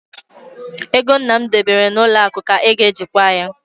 Ego nna m debere n'ụlọ akụ ka a ga-eji kwaa ya.